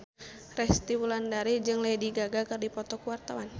Resty Wulandari jeung Lady Gaga keur dipoto ku wartawan